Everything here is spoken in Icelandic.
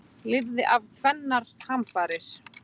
Lifði af tvennar hamfarir